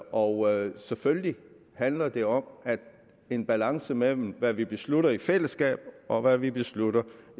og selvfølgelig handler det om en balance mellem hvad vi beslutter i fællesskab og hvad vi beslutter